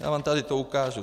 Já vám to tady ukážu.